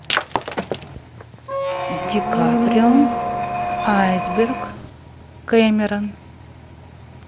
ди каприо айсберг кэмерон